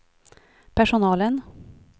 personalen